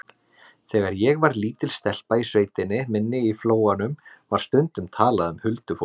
Þegar ég var lítil stelpa í sveitinni minni í Flóanum var stundum talað um huldufólk.